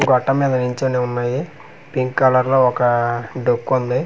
గొట్టం మీద నించొని ఉన్నాయి పింక్ కలర్ లో ఒక డొక్కు ఉంది.